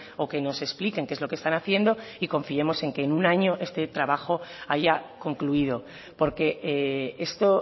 o que nos expliquen qué es lo que están haciendo y confiemos en que en un año este trabajo haya concluido porque esto